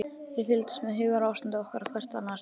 Við fylgdumst með hugarástandi okkar og hvert annars.